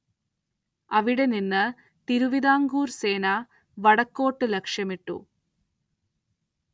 അവിടെ നിന്ന് തിരുവിതാംകൂർ സേന വടക്കോട്ട്‌ ലക്ഷ്യമിട്ടു.